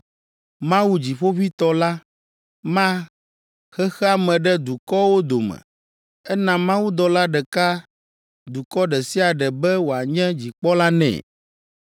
Mawu, dziƒoʋĩtɔ la, ma xexea me ɖe dukɔwo dome ena mawudɔla ɖeka dukɔ ɖe sia ɖe be wòanye dzikpɔla nɛ.